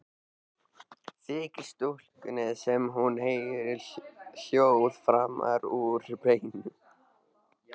Þykir stúlkunni sem hún heyri hljóð framan úr bænum.